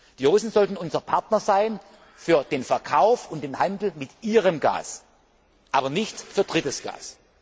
geht. Die Russen sollten unsere Partner sein für den Verkauf und den Handel mit ihrem Gas, aber nicht für drittes